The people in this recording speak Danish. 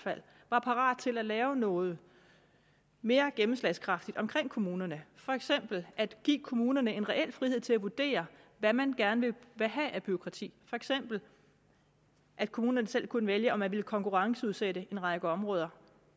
var parat til at lave noget mere gennemslagskraftigt omkring kommunerne for eksempel at give kommunerne en reel frihed til at vurdere hvad man gerne vil have af bureaukrati for eksempel at kommunerne selv kunne vælge om man ville konkurrenceudsætte en række områder